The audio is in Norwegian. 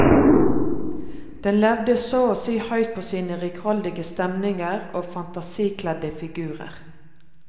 Den levde så å si høyt på sine rikholdige stemninger og fantasikledde figurer.